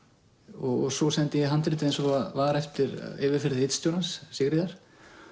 og svo sendi ég handritið eins og það var eftir yfirferð ritstjórans Sigríðar